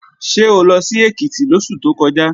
Ṣé o lọ sí Èkìtì lóṣù tó kọjá?